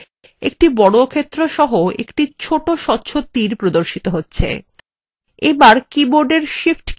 একটি বর্গক্ষেত্র সহ একটি ছোট স্বচ্ছ তীর cursor এর প্রান্তে নীচে প্রদর্শিত হবে